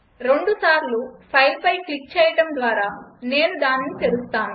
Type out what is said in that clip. రెండు సార్లు ఫైల్పై క్లిక్ చేయడం ద్వారా నేను దానిని తెరుస్తాను